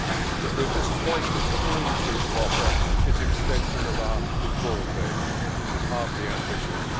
But we are disappointed that all you seem to offer is an extension of our withdrawal date this is hardly ambitious.